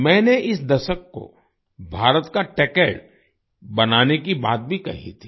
मैनें इस दशक को भारत का टेक्ड बनाने की बात भी कही थी